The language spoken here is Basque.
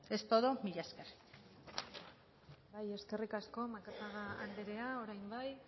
es todo mila esker bai eskerrik asko macazaga anderea orain bai